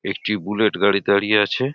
একটি বুলেট গাড়ি দাঁড়িয়ে আছে ।